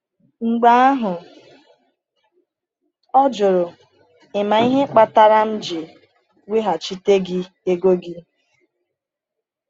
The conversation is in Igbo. Mgbe ahụ, ọ jụrụ: “Ị ma ihe kpatara m ji weghachite gị ego gị?”